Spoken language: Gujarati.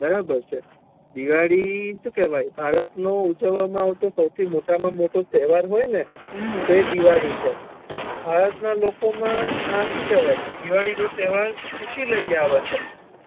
બરોબર છે દિવાળી એ શું કેવાય ભારત નો ઉજવવા મા આવ તો સૌથી મોટા મા મોટો તહેવાર હોય ને તો એ દિવાળી છે ભારત ના લોકો મા આ શું કેહવાય દિવાળી નો તહેવાર ખુશી લઇ આવે છે